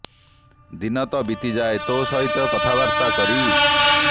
ଦିନ ତ ବିତି ଯାଏ ତୋ ସହିତ କଥାବାର୍ତ୍ତା କରି